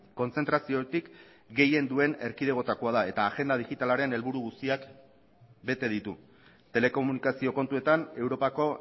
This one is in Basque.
kontzentraziotik gehien duen erkidegoetakoa da eta agenda digitalaren helburu guztiak bete ditu telekomunikazio kontuetan europako